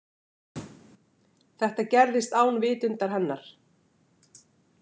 Þetta gerðist án vitundar hennar.